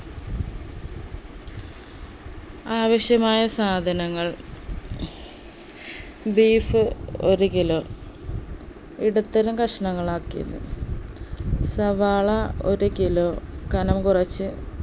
ആവശ്യമായ സാധനങ്ങൾ beef ഒരു kilo ഇടത്തരം കഷ്ണങ്ങളാക്കിയത് സവാള ഒരു kilo കനം കുറച്ച്